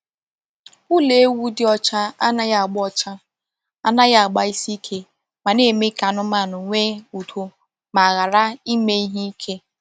Ụlọ ewu dị ọcha anaghị agba ọcha anaghị agba isi ike ma na-eme ka anụmanụ nwee udo ma ghara ime ihe ike.